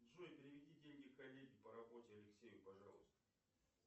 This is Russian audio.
джой переведи деньги коллеге по работе алексею пожалуйста